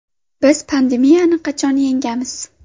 Biz pandemiyani qachon yengamiz?